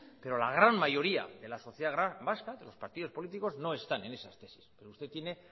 pero la gran mayoría de la sociedad vasca de los partidos políticos no están en esas tesis pero usted tiene